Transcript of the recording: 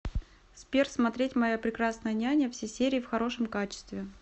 сбер смотреть моя прекрасная няня все серии в хорошем качестве